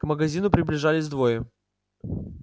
к магазину приближались двое